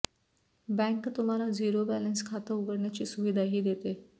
bank तुम्हाला zero balance खातं उघडण्याची सुविधाही देते